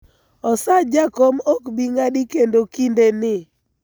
osach jakom ok bii ng'adi kendo kinde ni